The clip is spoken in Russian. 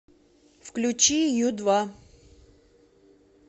включи ю два